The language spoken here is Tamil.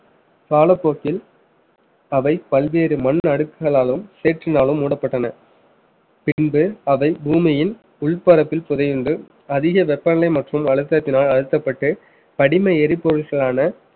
காலப்போக்கில் அவை பல்வேறு மண் அடுக்குகளாலும் சேற்றினாலும் மூடப்பட்டன பின்பு அதை பூமியின் உள் பரப்பில் புதையுண்டு அதிக வெப்பநிலை மற்றும் அழுத்தத்தினால் அழுத்தப்பட்டு படிம எரிபொருள்களான